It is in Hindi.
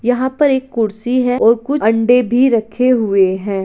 यहा पर एक कुर्सी है और कुछ अंडे भी रखे हुए है।